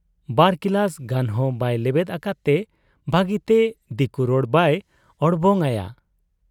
ᱵᱟᱨᱠᱤᱞᱟᱹᱥ ᱜᱟᱱᱦᱚᱸ ᱵᱟᱭ ᱞᱮᱵᱮᱫ ᱟᱠᱟᱫ ᱛᱮ ᱵᱷᱟᱹᱜᱤᱛᱮ ᱫᱤᱠᱩᱨᱚᱲ ᱵᱟᱭ ᱚᱲᱵᱟᱝ ᱟᱭᱟ ᱾